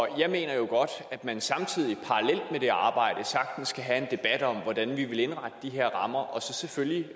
jeg mener jo godt at man samtidig og det arbejde sagtens kan have en debat om hvordan vi vil indrette de her rammer og så selvfølgelig